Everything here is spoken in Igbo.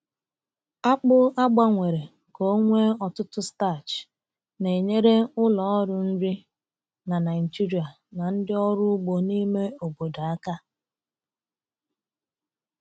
Akpụ a gbanwere ka o nwee ọtụtụ starch na-enyere ụlọ ọrụ nri na Nigeria na ndị ọrụ ugbo n'ime obodo aka.